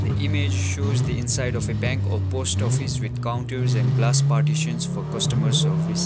image shows the inside of a bank or post office with counters and glass partitions for customer service.